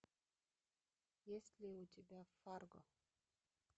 есть ли у тебя фарго